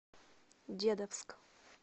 дедовск